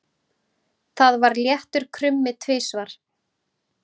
Það var léttur krummi tvisvar.